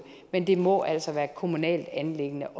men det må altså være et kommunalt anliggende